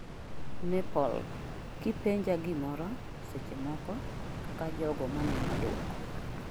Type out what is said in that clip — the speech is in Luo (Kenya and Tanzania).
Nepal "kipenja gimoro" seche moko ; kaka jogo maneno duoko